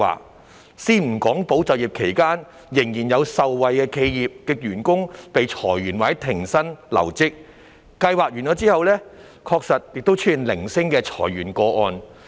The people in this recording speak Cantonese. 我先不談"保就業"期間仍然有受惠企業的員工被裁員或停薪留職，計劃完結後確實出現了零星的裁員個案。